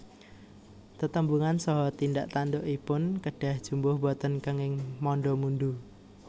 Tetembungan saha tindak tandukipun kedah jumbuh boten kenging manda mundu